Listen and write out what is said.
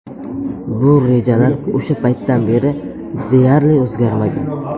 Bu rejalar o‘sha paytdan beri deyarli o‘zgarmagan.